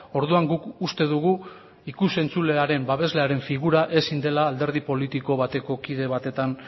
orduan guk uste dugu ikus entzulearen babeslearen figura ezin dela alderdi politiko bateko kide batetan